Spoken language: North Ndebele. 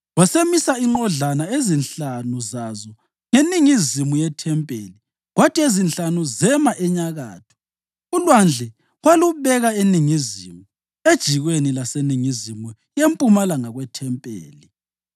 Wasemisa inqodlana ezinhlanu zazo ngeningizimu yethempeli kwathi ezinhlanu zema enyakatho. ULwandle walubeka eningizimu, ejikweni laseningizimu yempumalanga kwethempeli.